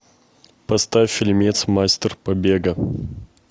поставь фильмец мастер побега